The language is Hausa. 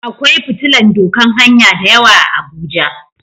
Akwai fitillan doƙan hanya da yawa a abuja.